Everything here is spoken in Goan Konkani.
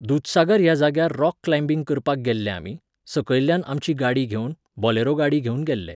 दूदसागर ह्या जाग्यार रॉक क्लायबिंग करपाक गेल्ले आमी, सकयल्ल्यान आमची गाडी घेवन, बॉलेरो गाडी घेवन गेल्ले.